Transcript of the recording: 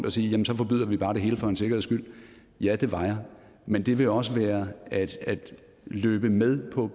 at sige jamen så forbyder vi bare det hele for en sikkerheds skyld ja det var jeg men det ville også have været at løbe med